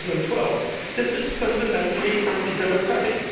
2012. This is fundamentally anti democratic